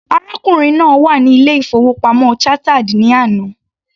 Arákùnrin náà wà ní ilé- ìfowópamọ́ Chartered ní àná.